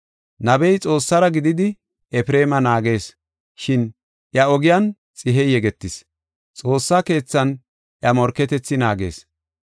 Nabey Xoossara gididi, Efreema naagees; shin iya ogiyan xihey yegetis; xoossa keethan iya morketethi naagees.